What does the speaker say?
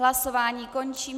Hlasování končím.